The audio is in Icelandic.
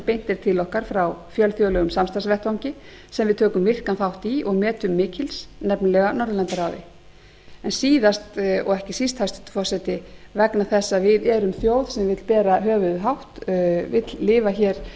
er til okkar frá fjölþjóðlegum samstarfsvettvangi sem við tökum virkan þátt í og metum mikils nefnilega norðurlandaráði en síðast en ekki síst hæstvirtur forseti vegna þess að við erum þjóð sem vill bera höfuðið hátt